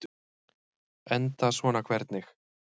Enda svona hvernig?